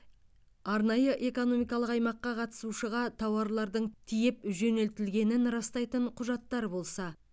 арнайы экономикалық аймаққа қатысушыға тауарлардың тиеп жөнелтілгенін растайтын құжаттар болса